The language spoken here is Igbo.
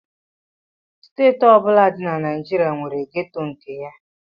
Steeti ọ bụla dị na Naịjirịa nwere gétò nke ya